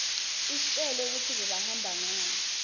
istjela kutsi bebahamba ngani